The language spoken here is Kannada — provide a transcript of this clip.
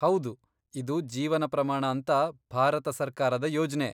ಹೌದು, ಇದು ಜೀವನ ಪ್ರಮಾಣ ಅಂತ ಭಾರತ ಸರ್ಕಾರದ ಯೋಜ್ನೆ.